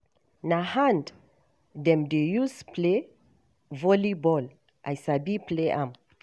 Na hand dem dey use play volleyball, I sabi play am.